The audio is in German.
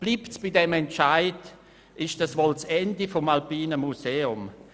Bleibt es bei diesem Entscheid, bedeutet dies das Ende des Alpinen Museums.